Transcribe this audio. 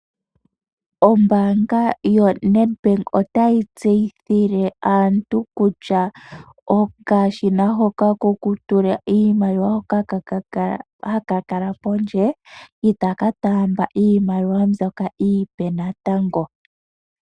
Ombaanga yo NedBank otayi tseyithile aantu kutya okashina hoka ko ku tula iimaliwa, hoka haka kala pondje itaka taamba iimaliwa mbyoka iipe natango.